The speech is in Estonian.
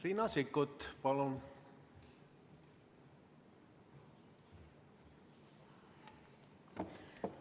Riina Sikkut, palun!